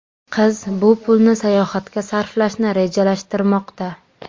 Qiz bu pulni sayohatga sarflashni rejalashtirmoqda.